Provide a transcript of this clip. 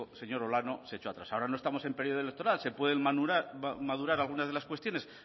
señor olano se echo atrás ahora no estamos en periodo electoral se pueden madurar algunas de las cuestiones